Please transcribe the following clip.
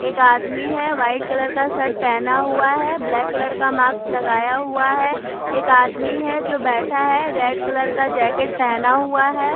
एक आदमी है वाइट कलर का शर्ट पहना हुआ है ब्लैक कलर का माक्स लगाया हुआ है एक आदमी है जो बैठा है रेड कलर का जैकेट पहना हुआ है।